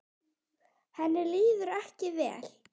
Henni líður ekki vel.